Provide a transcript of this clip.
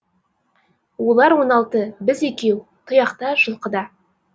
олар он алты біз екеу тұяқтар жылқыда